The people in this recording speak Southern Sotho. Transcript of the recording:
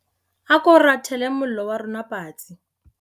A ko rathele mollo wa rona patsi.